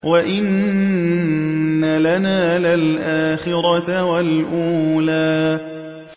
وَإِنَّ لَنَا لَلْآخِرَةَ وَالْأُولَىٰ